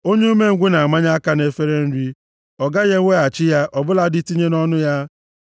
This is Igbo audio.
Onye umengwụ na-amanye aka nʼefere nri, ọ gaghị eweghachi ya ọ bụladị tinye nʼọnụ ya.